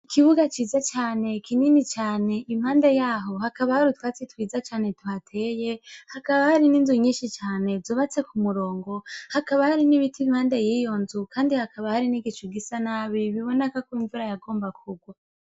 Ikibuga ciza cane kinini cane impande yaho hakaba hari utwatsi twiza cane tu tuhateye hakaba hari n'inzu nyishi cane zubatse k'umurongo hakaba hari n'ibiti Impande yiyonzu hakaba hari n'igicu gisa nabi biboneka kw'imvura yagomba kugwa.